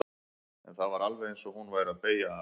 En það var alveg eins og hún væri að beygja af.